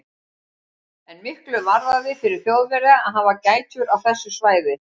En miklu varðaði fyrir Þjóðverja að hafa gætur á þessu svæði.